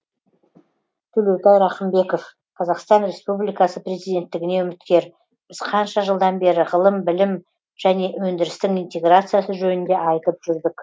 төлеутай рақымбеков қазастан републикасы президенттігіне үміткер біз қанша жылдан бері ғылым білім және өндірістің интеграциясы жөнінде айтып жүрдік